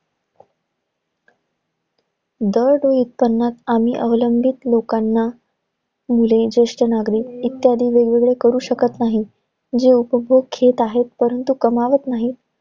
दरडोई उत्पन्नात आम्ही अवलंबित लोकांना, मुले, जेष्ठ नागरिक इत्यादी वेगवेगळे करू शकत नाही. जे उपभोग घेत आहेत, परंतु कमावत नाहीत.